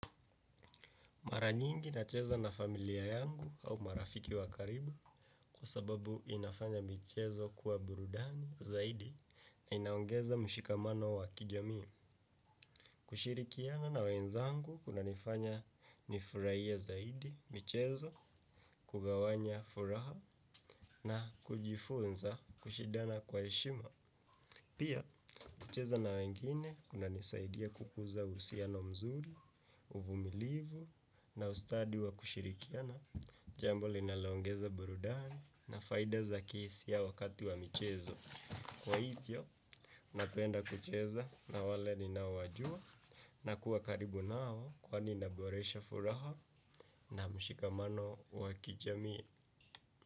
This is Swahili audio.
Mara nyingi nacheza na familia yangu au marafiki wa karibu kwa sababu inafanya michezo kuwa burudani zaidi na inaongeza mshikamano wa kijamii. Kushirikiana na wenzangu kunanifanya nifurahie zaidi, michezo, kugawanya furaha na kujifunza kushidana kwa heshima. Pia, kucheza na wengine, kunanisaidia kukuza uhusiano mzuri, uvumilivu, na ustadi wa kushirikiana, jambo lilonaloongeza burudani, na faida za kihisia wakati wa michezo. Kwa hivyo, napenda kucheza na wale ninaowajua, na kuwa karibu nao kwani naboresha furaha na mshikamano wakijamii.